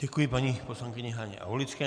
Děkuji paní poslankyni Haně Aulické.